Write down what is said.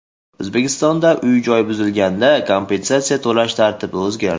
O‘zbekistonda uy-joy buzilganda kompensatsiya to‘lash tartibi o‘zgardi.